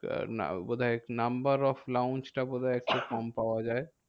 না বোধহয় number of launch টা বোধহয় একটু কম পাওয়া যায়।